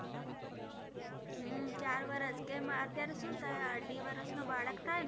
હમ ચાર વરસ, કેમ અત્યારે શું થાય અઢી વરસનો બાળક થાયને